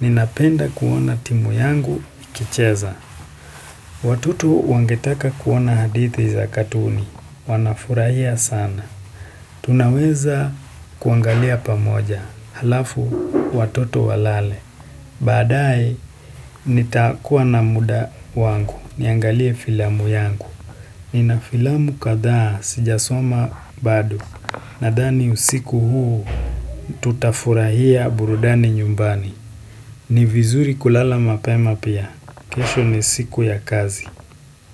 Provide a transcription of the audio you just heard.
Ninapenda kuona timu yangu ikicheza. Watoto wangetaka kuona hadithi za katuni. Wanafurahia sana. Tunaweza kuangalia pamoja. Halafu watoto walale. Baadaye, nitakuwa na muda wangu, niangalie filamu yangu. Nina filamu kadhaa, sijasoma bado. Nadhani usiku huu, tutafurahia burudani nyumbani. Ni vizuri kulala mapema pia, kesho ni siku ya kazi.